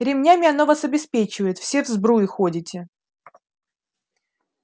ремнями оно вас обеспечивает все в сбруе ходите